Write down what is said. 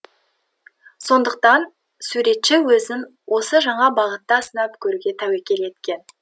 сондықтан суретші өзін осы жаңа бағытта сынап көруге тәуекел еткен